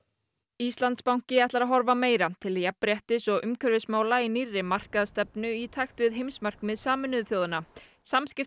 Íslandsbanki ætlar að horfa meira til jafnréttis og umhverfismála í nýrri markaðsstefnu í takti við heimsmarkmið Sameinuðu þjóðanna